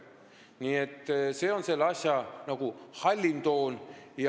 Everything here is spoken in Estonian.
Nii et see on selle asja hallim toon.